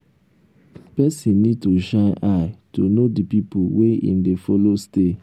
person need to shine eye to know di pipo wey im dey follow stay